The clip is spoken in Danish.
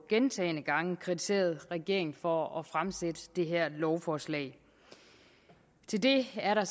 gentagne gange kritiseret regeringen for at fremsætte det her lovforslag til det er der